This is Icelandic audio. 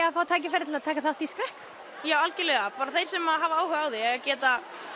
að fá tækifæri til að taka þátt í skrekk já algjörlega bara þeir sem hafa áhuga á því geti